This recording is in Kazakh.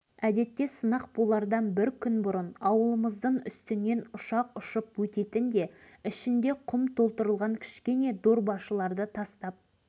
алғашқы сынақты біздің жерімізге ауада жарған кезде мен жүгіріп жүрген бала едім дейді ауылдық кеңесі атқару комитетінің